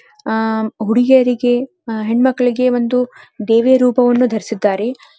ಆಹ್ಹ್ ಹುಡುಗಿಯರಿಗೆ ಹೆಣ್ ಮಕ್ಕಳಿಗೆ ಒಂದು ದೇವಿಯ ರೂಪವನ್ನು ಧರಿಸಿದ್ದರೆ.